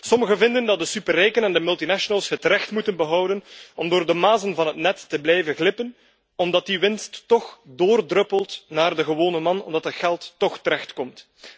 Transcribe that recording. Sommigen vinden dat de superrijken en de multinationals het recht moeten behouden om door de mazen van het net te blijven glippen omdat die winst toch doordruppelt naar de gewone man, omdat dat geld toch terecht komt.